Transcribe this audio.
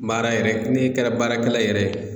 Baara yɛrɛ ne kɛra baarakɛla yɛrɛ ye